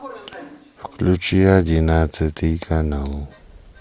включи одиннадцатый канал